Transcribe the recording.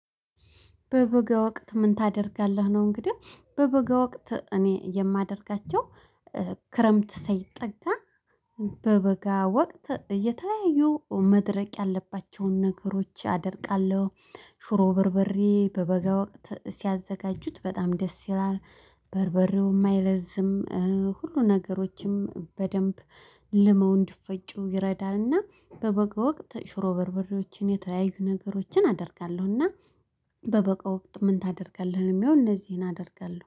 በበጋ ወቅት ምን ታደርጋለህ ነው? እንግዲህ በበገ ወቅት እኔ የማደርጋቸው ክረምት ሳይጠጋ በበጋ ወቅት የተለያዩ መድረቅ ያለባቸውን ነገሮች አደርቃለሁ። ሽሮ በርብሬ በበጋ ሲያዘጋጁት በጣም ደስ ይላል። በርበሬውም አይለዝም። ሁሉ ነገሮችም በደንብ ልመው እንድፈጩ ይረዳልና በበቀ ወቅት ሽሮ በርብሮችን የተለያዩ ነገሮችን አደርጋለሁና። በበጋ ወቅት ምን ታደርጋለህ ለሚለው እነዚህን አደርጋለሁ